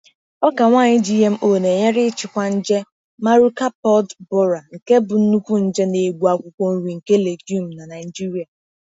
Ọka nwaanyị GMO na-enyere ịchịkwa nje Maruca pod borer, nke bụ nnukwu nje na-egbu akwụkwọ nri nke legume na Naijiria.